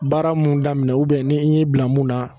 Baara mun daminɛ ubiyɛn n'i' bila min na